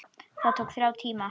Það tók þrjá tíma.